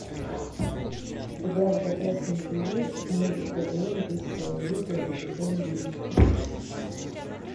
у тебя в загашнике есть мульт квн высшая лига сезон десять